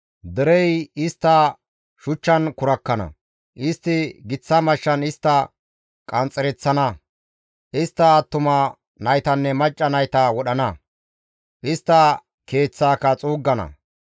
Derey istta shuchchan kurakkana; istti giththa mashshan istta qanxxereththana; istta attuma naytanne macca nayta wodhana; istta keeththaaka xuuggana.